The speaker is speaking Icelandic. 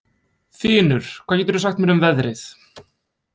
Þinur, hvað geturðu sagt mér um veðrið?